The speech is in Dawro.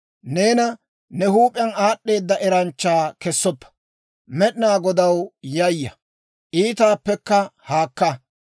Neena ne huup'iyaan aad'd'eeda eranchcha kessoppa; Med'inaa Godaw yayya; iitaappekka haakka.